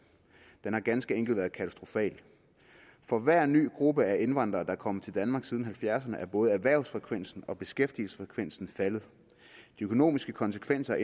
den har ganske enkelt været katastrofal for hver ny gruppe af indvandrere der er kommet til danmark siden nitten halvfjerdserne er både erhvervsfrekvensen og beskæftigelsesfrekvensen faldet de økonomiske konsekvenser af